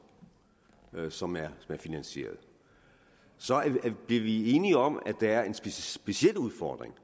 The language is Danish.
som er finansieret så blev vi enige om at der er en speciel udfordring